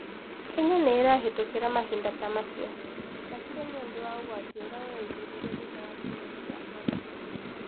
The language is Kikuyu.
Kenya nĩ ĩrahĩtũkĩra mahinda ta macio. Makĩria nĩ ũndũ wa ũgwati ũrĩa ũreyumĩririe thutha wa kĩng'ũki gĩa korona.